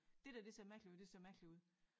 Det der det ser mærkeligt ud det ser mærkeligt ud